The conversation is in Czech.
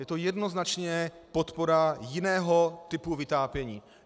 Je to jednoznačně podpora jiného typu vytápění.